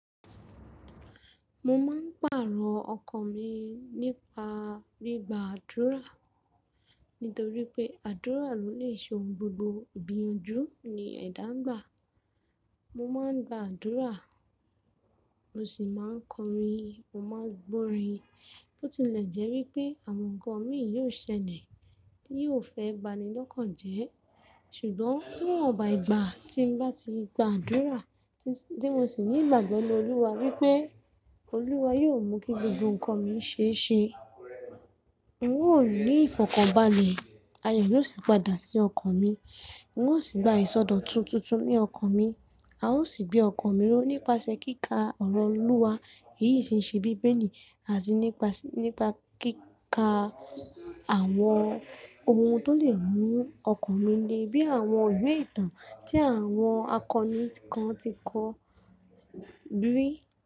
Mo máa ń pàarọ̀ ọkọ mi nípa gbigb àdúrà, nítorí pé àdúrà ló lè ṣe ohun gbogbo. Ìgbíyanjú ni ẹ̀dá ń gbà. Mo máa ń gba àdúrà, mo sì máa ń kọrin, mo máa ń gbọ́ orin, bó tilẹ̀ jẹ́ wípé àwọn nǹkan mi yóò ṣẹlẹ̀, ti yoó fẹ́ banilọ́kàn jẹ́. Ṣùgbọ́n níwọ̀nba ìgbà tí m bá ti gba àdúrà, tí mo sì ní ìgbàgbọ́ ninu oúwa wípé Olúwa yóò mú kí gbogbo nǹkan mi ṣe é ṣe. N óò ri ìfọ̀kànbalẹ̀, ayọ̀ yóò sì padà sí ọkàn mi. N ó sì gba ìsọdọ̀tun tuntun nínu ọkàn mi. A ó sì gbé ọkan mi ró nípasẹ̀ kíkà ọ̀rọ̀ Olúwa, èyí tì ń ṣe bíbeli àti nípa kíkà àwọn ohun tó lè mú ọkan mi le, bí i àwọn ìwé ìtàn tí àwọn akọni kan ti kọ, bí í.